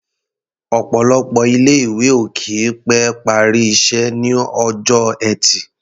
Ọ̀pọ̀lọpọ̀ ilé-ìwé ò kì í pẹ́ parí iṣẹ́ ní ọjọ́ Ẹtì.